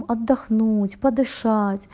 отдохнуть подышать